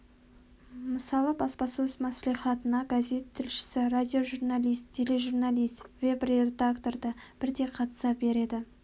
мысалы баспасөз маслихатына газет тілшісі радиожурналист тележурналист веб-редактор да бірдей қатыса береді